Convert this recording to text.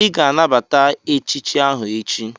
Ị ga-anabata echichi ahụ echi!